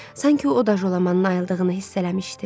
Sanki o da Jolamanın ayıldığını hiss eləmişdi.